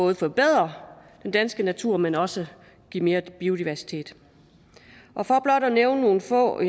at forbedre den danske natur men også give mere biodiversitet og for blot at nævne nogle få